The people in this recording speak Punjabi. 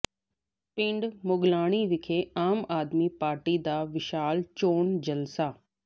ਪਿੰਡ ਮੁਗਲਾਣੀ ਵਿਖੇ ਆਮ ਆਦਮੀ ਪਾਰਟੀ ਦਾ ਵਿਸ਼ਾਲ ਚੋਣ ਜਲਸਾ